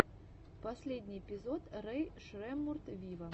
последний эпизод рэй шреммурд виво